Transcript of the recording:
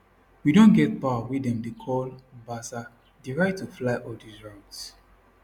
we don get power wey dem dey call basa di right to fly all dis routes